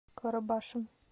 карабашем